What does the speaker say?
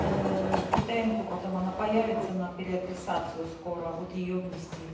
а тнк потом она появится на переадресацию скоро вот её внести